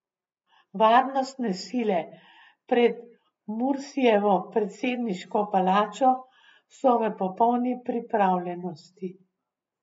Varnostne sile pred Mursijevo predsedniško palačo so v popolni pripravljenosti.